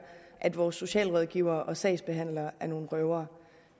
at vores socialrådgivere og sagsbehandlere er nogle røvere